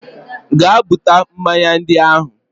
Gaa buta mmanya ndị ahụ!